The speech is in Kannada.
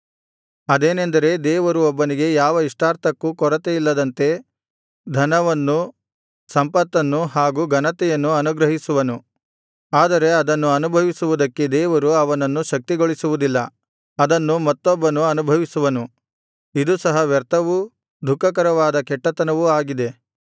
ಅದೇನೆಂದರೆ ದೇವರು ಒಬ್ಬನಿಗೆ ಯಾವ ಇಷ್ಟಾರ್ಥಕ್ಕೂ ಕೊರತೆಯಿಲ್ಲದಂತೆ ಧನವನ್ನು ಸಂಪತ್ತನ್ನು ಹಾಗು ಘನತೆಯನ್ನು ಅನುಗ್ರಹಿಸುವನು ಆದರೆ ಅದನ್ನು ಅನುಭವಿಸುವುದಕ್ಕೆ ದೇವರು ಅವನನ್ನು ಶಕ್ತಿಗೊಳಿಸುವುದಿಲ್ಲ ಅದನ್ನು ಮತ್ತೊಬ್ಬನು ಅನುಭವಿಸುವನು ಇದು ಸಹ ವ್ಯರ್ಥವೂ ದುಃಖಕರವಾದ ಕೆಟ್ಟತನವೂ ಆಗಿದೆ